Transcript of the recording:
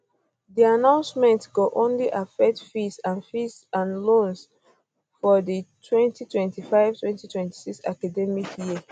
di announcement go only affect fees and fees and loans um for di 202526 academic um year